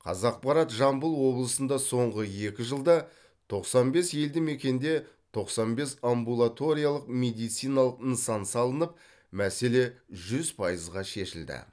қазақпарат жамбыл облысында соңғы екі жылда тоқсан бес елді мекенде тоқсан бес амбулаториялық медициналық нысан салынып мәселе жүз пайызға шешілді